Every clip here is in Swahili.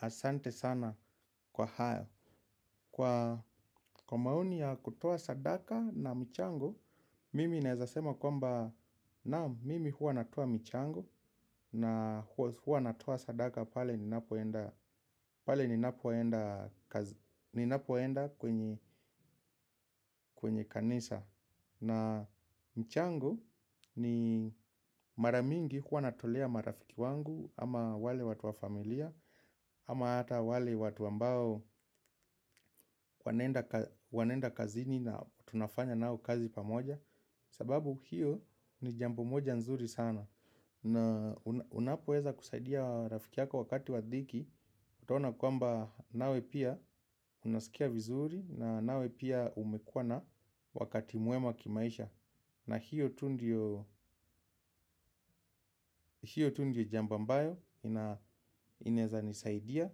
Asante sana kwa hayo. Kwa maoni ya kutoa sadaka na michango Mimi naezasema kwamba Mimi huwa natoa michango. Na huwa natoa sadaka pale ni napoenda kwenye kanisa. Na michango ni maramingi huwa natolea marafiki wangu. Ama wale watu wa familia ama ata wale watu ambao wanaenda kazini na tunafanya nao kazi pamoja. Sababu hiyo ni jambo moja nzuri sana. Na unapoweza kusaidia rafiki yako wakati wadhiki utaona kwamba nawe pia unaskia vizuri na nawe pia umekuwana wakati mwema kimaisha. Na hiyo tu ndio jambo ambayo inaeza nisaidia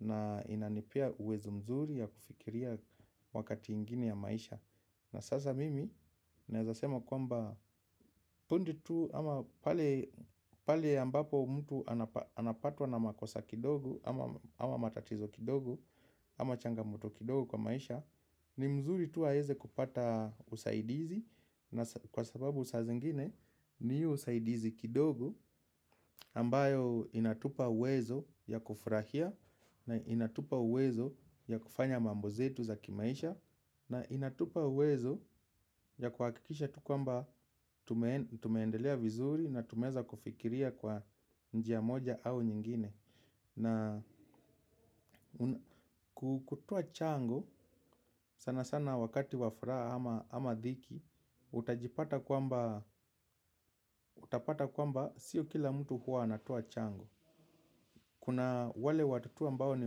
na inanipea uwezo mzuri ya kufikiria wakati ingine ya maisha. Na sasa mimi naezasema kwamba punde tu ama pale ambapo mtu anapatwa na makosa kidogo ama matatizo kidogo ama changamoto kidogo kwa maisha. Ni mzuri tu aeze kupata usaidizi na kwa sababu saa zingine ni hiyo usaidizi kidogo ambayo inatupa uwezo ya kufurahia na inatupa uwezo ya kufanya mambozetu za kimaisha. Na inatupa uwezo ya kuhakikisha tu kwamba tumeendelea vizuri na tumeweza kufikiria kwa njia moja au nyingine. Na kutoa chango, sana sana wakati wafuraha ama dhiki, utajipata kwamba, utapata kwamba siyo kila mtu huwa anatoa chango. Kuna wale watu tu ambao ni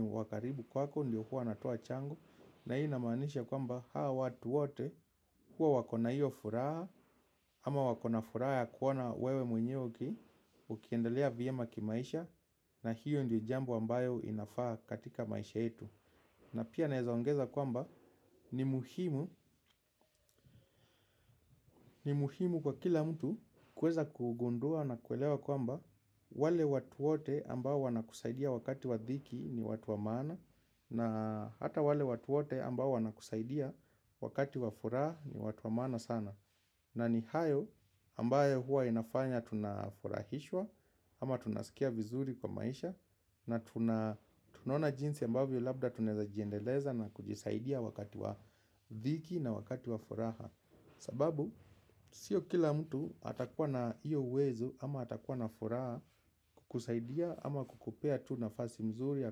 wakaribu kwako, ndio huwa natoa chango. Na hii ina maanisha kwamba hawa watu wote huwa wakona hio furaha, ama wakona furaha ya kuona wewe mwenyewe uki, ukiendelea vyema kimaisha. Na hiyo ndio jambo ambayo inafaa katika maisha yetu. Na pia naeza ongeza kwamba ni muhimu ni muhimu kwa kila mtu kuweza kugundua na kuelewa kwamba wale watu wote ambao wana kusaidia wakati wa dhiki ni watu wamaana na hata wale watu wote ambao wanakusaidia wakati wafuraha ni watu wamaana sana. Na ni hayo ambayo huwa inafanya tuna furahishwa ama tunaskia vizuri kwa maisha na tunaona jinsi ambayo labda tunaeza jiendeleza na kujisaidia wakati wa dhiki na wakati wa furaha. Sababu, sio kila mtu atakuwa na iyo uwezo ama atakuwa na furaha kukusaidia ama kukupea tu nafasi mzuri ya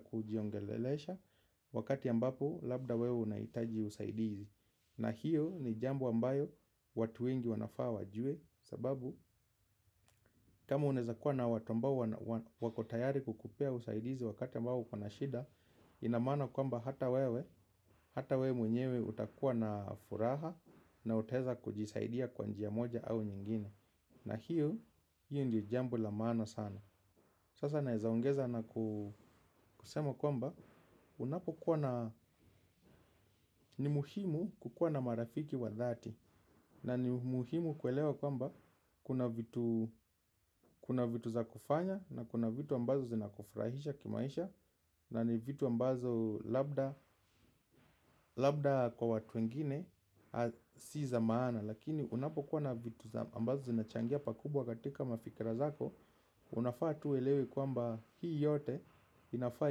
kujiongelelesha wakati ambapo labda wewe unaitaji usaidizi. Na hiyo ni jambo ambayo watu wengi wanafaa wajue sababu kama unaeza kuwa na watu ambao wako tayari kukupea usaidizi wakati ambao ukona shida. Inamaana kwamba hata wewe hata wewe mwenyewe utakuwa na furaha na utaeza kujisaidia kwa njia moja au nyingine. Na hiyo hiyo ndio jambu la maana sana. Sasa naezaongeza na kusema kwamba unapo kuwa na ni muhimu kukuwa na marafiki wa dhati. Na ni muhimu kuelewa kwamba kuna vitu za kufanya na kuna vitu ambazo zinakufurahisha kimaisha. Na ni vitu ambazo labda kwa watu wengine si za maana. Lakini unapokuwa na vitu ambazo zinachangia pakubwa katika mafikirazako unafaa tu uelewe kwamba hii yote inafaa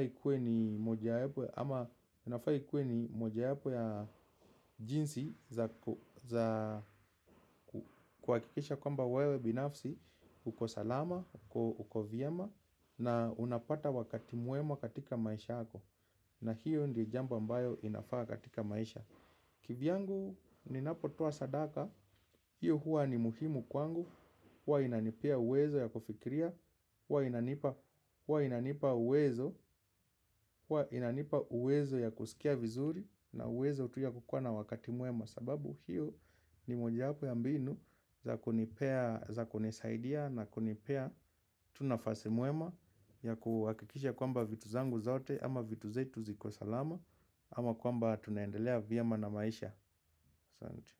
ikuwe ni moja yapo ya jinsi za ku za kuhakikisha kwamba wewe binafsi uko salama, uko vyema na unapata wakati mwema katika maisha yako na hiyo ndiyo jambo ambayo inafaa katika maisha kivyangu ninapotoa sadaka hiyo huwa ni muhimu kwangu huwa inanipea uwezo ya kufikiria huwa inanipa uwezo huwa inanipa uwezo ya kuskia vizuri na uwezo tu ya kukuwa na wakati mwema sababu hiyo ni moja yapo ya mbinu za kunipea za kunisaidia na kunipea tu nafasi mwema ya kuhakikisha kwamba vitu zangu zote ama vitu zetu ziko salama ama kwamba tunaendelea vyema na maisha Santi.